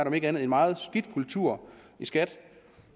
om ikke andet meget skidt kultur i skat